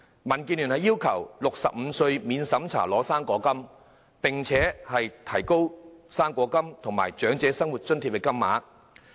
民建聯要求調低至65歲便可免審查領取"生果金"，並調高"生果金"和長者生活津貼的金額。